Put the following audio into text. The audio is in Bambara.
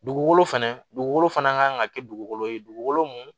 Dugukolo fɛnɛ dugukolo fana kan ka kɛ dugukolo ye dugukolo mun